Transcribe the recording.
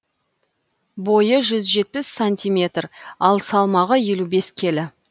бойы жүз жетпіс сантиметр ал салмағы елу бес келі